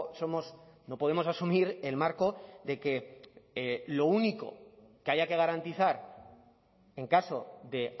somos no podemos asumir el marco de que lo único que haya que garantizar en caso de